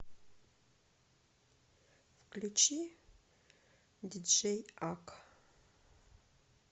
включи диджей ак